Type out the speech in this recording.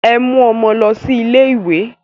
Ẹ mú ọmọ lọ sí ilé ìwé!